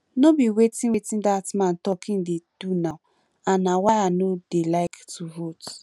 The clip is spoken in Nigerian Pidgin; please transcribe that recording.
no be wetin wetin dat man talk he dey do now and na why i no dey like to vote